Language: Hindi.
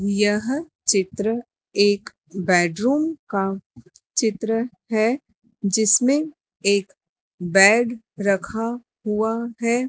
यह चित्र एक बेडरूम का चित्र है जिसमें एक बैग रखा हुआ है।